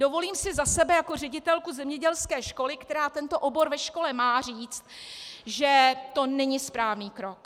Dovolím si za sebe jako ředitelku zemědělské školy, která tento obor ve škole má, říct, že to není správný krok.